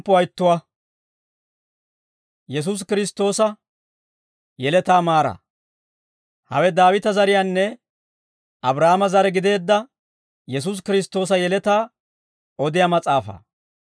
Hawe Daawita zariyaanne Abraahaame zare gideedda Yesuusi Kiristtoosa yeletaa odiyaa mas'aafaa.